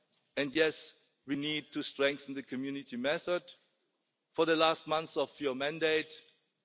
from inside. And yes, we need to strengthen the Community method in the last months of your term